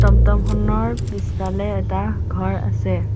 টমটমখনৰ পিছফালে এটা ঘৰ আছে।